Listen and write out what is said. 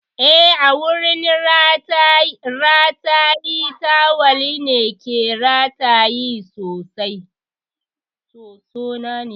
Eh, a wurin rataye tawal na ke rataye sosona.